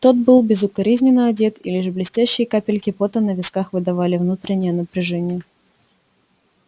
тот был безукоризненно одет и лишь блестящие капельки пота на висках выдавали внутреннее напряжение